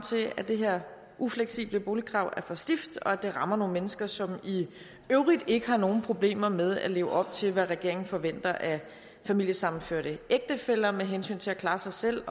til at det her ufleksible boligkrav er for stift og at det rammer nogle mennesker som i øvrigt ikke har nogen problemer med at leve op til hvad regeringen forventer af familiesammenførte ægtefæller med hensyn til at klare sig selv